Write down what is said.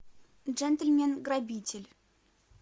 джентльмен грабитель